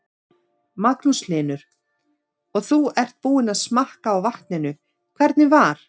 Magnús Hlynur: Og þú ert búinn að smakka á vatninu, hvernig var?